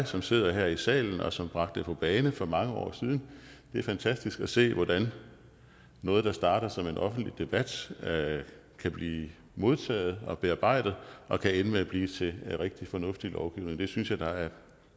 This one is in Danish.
som sidder her i salen og som bragte det på bane for mange år siden det er fantastisk at se hvordan noget der starter som en offentlig debat kan blive modtaget og bearbejdet og kan ende med at blive til en rigtig fornuftig lovgivning det synes jeg